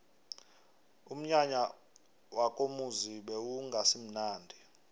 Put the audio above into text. umnyanya wakomuzi bewungasimunandi